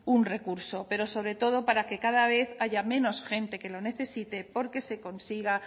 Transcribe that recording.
un recurso pero sobre todo para que cada vez haya menos gente que lo necesite porque se consiga